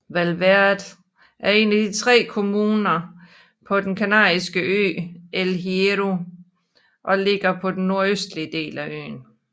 Valverde er en af tre kommuner på den kanariske ø El Hierro og ligger på den nordøstlige del af øen